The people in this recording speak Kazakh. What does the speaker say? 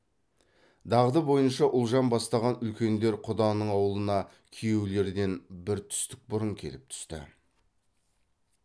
дағды бойынша ұлжан бастаған үлкендер құданың аулына күйеулерден бір түстік бұрын келіп түсті